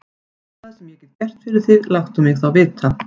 Ef það er eitthvað, sem ég get gert fyrir þig, láttu mig þá vita.